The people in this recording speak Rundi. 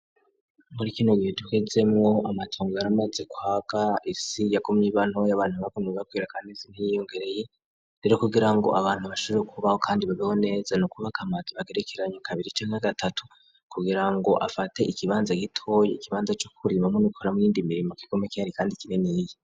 Muri kino gihe tuhizemo amatongo aramaze kwa kaisi yakumye ibanto y'abantu nbakumia kwira kanezi nt'iyongereyi rero kugira ngo abantu bashure kubaho kandi babiho neza no kuba kamati bagerekeranyo kabiri ce nka gatatu kugira ngo afate ikibanza gitoye ikibanza cy'okurima me ni kora muriindi mirimo kikome kyari kandi kineneye.